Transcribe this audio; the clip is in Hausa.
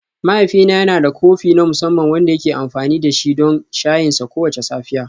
Mahaifina yana da kofi na musamman wanda yake amfani da shi don shayinsa kowace safiya.